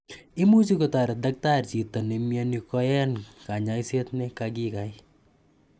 Imuchi kotaret daktari chito nemiani koyan kanyaiset ne kakikai.